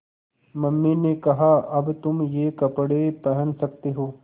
mummy ने कहा अब तुम ये कपड़े पहन सकते हो